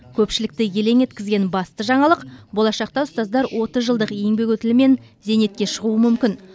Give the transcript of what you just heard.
көпшілікті елең еткізген басты жаңалық болашақта ұстаздар отыз жылдық еңбек өтілімен зейнетке шығуы мүмкін